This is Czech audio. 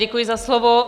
Děkuji za slovo.